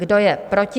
Kdo je proti?